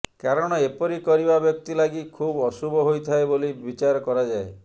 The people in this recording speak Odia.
କାରଣ ଏପରି କରିବା ବ୍ୟକ୍ତି ଲାଗି ଖୁବ୍ ଅଶୁଭ ହୋଇଥାଏ ବୋଲି ବିଚାର କରାଯାଏ